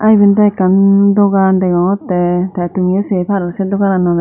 eben daw ekkan dogan degogottey tey tumiyo sey paror sey dogananorey.